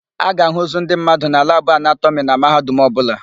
A ga-àhụ́ ozu ndị mmadụ na labụ anatọmị na Mahadum ọbụla.